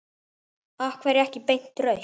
Af hverju ekki beint rautt?